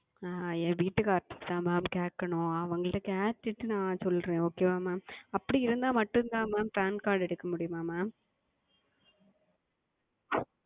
ஆஹ் என் கணவரிடம் தான் Mam கேட்க வேண்டும் அவங்களிடம் கேட்டு கொண்டு சொல்லுகிறேன் Okay Mam அப்படி இருந்தால் மட்டும் தான் MamPan Card எடுக்க முடியுமா Mam